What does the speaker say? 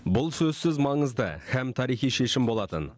бұл сөзсіз маңызды һәм тарихи шешім болатын